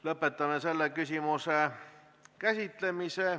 Lõpetame selle küsimuse käsitlemise.